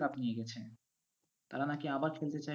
cup নিয়ে গেছে। তারা নাকি আবার খেলতে চায়